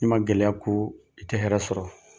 Ni man gɛlɛya kun i tɛ hɛrɛ sɔrɔ.